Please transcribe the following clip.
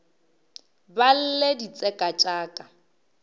ba lle ditseka tša ka